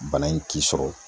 Bana in k'i sɔrɔ